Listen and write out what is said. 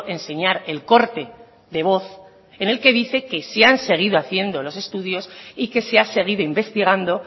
enseñar el corte de voz en el que dice que sí han seguido haciendo los estudios y que se ha seguido investigando